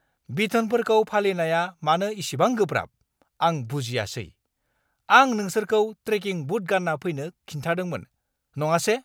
बिथोनफोरखौ फालिनाया मानो इसिबां गोब्राब, आं बुजियासै! आं नोंसोरखौ ट्रेकिं बुट गानना फैनो खिन्थादोंमोन, नङासे!